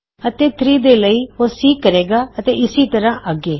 ਅਤੇ 3 ਲਈ ਉਹ C ਕਹੇ ਗਾ ਅਤੇ ਇਸੀ ਤਰ੍ਹਾ ਅਗੇ